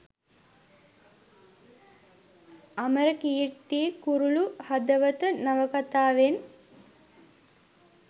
අමරකීර්ති කුරුලු හදවත නවකතාවෙන්